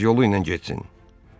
Qoy öz yolu ilə getsin.